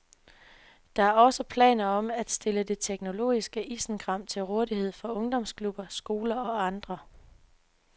Der er også planer om at stille det teknologiske isenkram til rådighed for ungdomsklubber, skoler og andre.